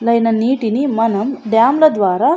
నీటిని మనం డాం ల ద్వారా --